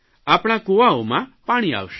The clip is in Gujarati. આપણા કૂવાઓમાં પાણી આવશે